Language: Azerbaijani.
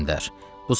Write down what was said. Fərraş göndər.